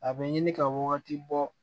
A bɛ ɲini ka wagati bɔ